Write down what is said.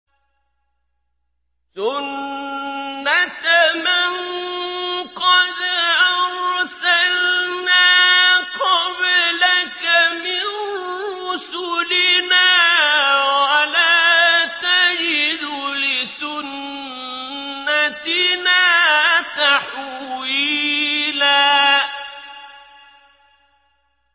سُنَّةَ مَن قَدْ أَرْسَلْنَا قَبْلَكَ مِن رُّسُلِنَا ۖ وَلَا تَجِدُ لِسُنَّتِنَا تَحْوِيلًا